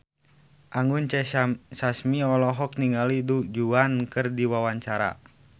Anggun C. Sasmi olohok ningali Du Juan keur diwawancara